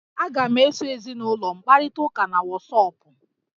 Aga m eso ezinụlọ m kparịta ụka na wọsọpụ